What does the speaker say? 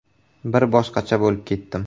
Bir boshqacha bo‘lib ketdim.